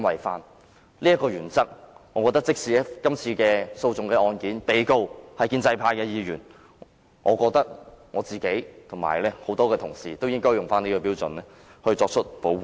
基於這原則，如果這次訴訟的被告是建制派議員，我和其他同事也應該根據這標準作出保護。